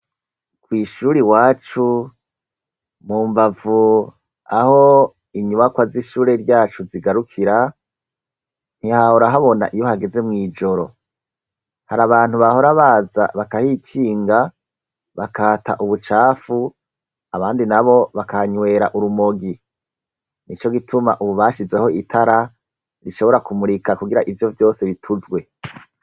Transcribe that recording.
Kw'ishure iwacu, mu mbavu aho inyubakwa z'ishure ryacu zigarukira, ntihahora habona iyo hageze mw'ijoro, hari abantu bahora baza bakahikinga bakahata ubucafu abandi nabo bakahanywera urumogi, nico gituma ubu bashizeho itara rishobora kumurika, kugira ivyo vyose bituzwe.